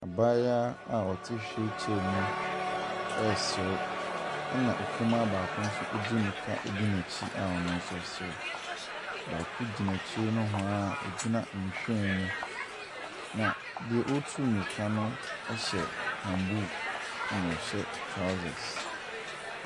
Abaayewa a ɔte wheel chair mu ɛresre ɛna ɔkumaa baako nso edi mirika di nɛkyi a ɔno nso sre. Baako nyinaa akyire nowhaa ɔgyina nwhiren mu. Na deɛ ɔreturu mirika no ɛhyɛ camboo ɛna ɔhyɛ trousers.